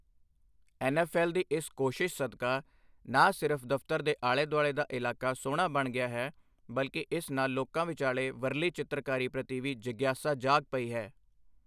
N F L ਦੀ ਇਸ ਕੋਸ਼ਿਸ਼ ਸਦਕਾ ਨਾ ਸਿਰਫ ਦਫ਼ਤਰ ਦੇ ਆਲੇ ਦੁਆਲੇ ਦਾ ਇਲਾਕਾ ਸੋਹਣਾ ਬਣ ਗਿਆ ਹੈ ਬਲਕਿ ਇਸ ਨਾਲ ਲੋਕਾਂ ਵਿਚਾਲੇ ਵਰਲੀ ਚਿੱਤਰਕਾਰੀ ਪ੍ਰਤੀ ਵੀ ਜਿਗਿਆਸਾ ਜਾਗ ਪਈ ਹੈ।